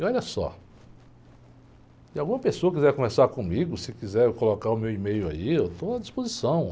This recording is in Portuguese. E olha só, se alguma pessoa quiser conversar comigo, se quiser colocar o meu e-mail aí, eu estou à disposição.